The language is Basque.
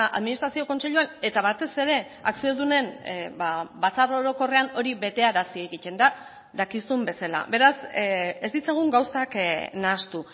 administrazio kontseiluan eta batez ere akziodunen batzar orokorrean hori betearazi egiten da dakizun bezala beraz ez ditzagun gauzak nahastu